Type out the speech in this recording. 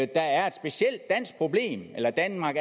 der er et specielt dansk problem eller at danmark